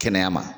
Kɛnɛya ma